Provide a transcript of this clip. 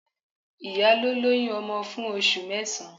Ìyá ló lóyún ọmọ fún oṣù mẹ́sàn-án.